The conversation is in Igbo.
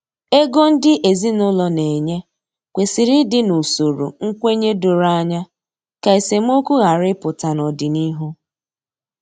Ego ndị ezinụlọ na enye kwesịrị ịdị n’usoro nkwenye doro anya, ka esemokwu ghara ịpụta n’ọdịnihu